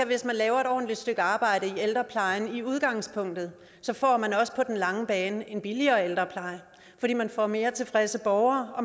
hvis man laver et ordentligt stykke arbejde i ældreplejen i udgangspunktet får man også på den lange bane en billigere ældrepleje fordi man får mere tilfredse borgere